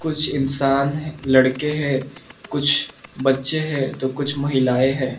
कुछ इंसान लड़के हैं कुछ बच्चे हैं तो कुछ महिलाएं हैं।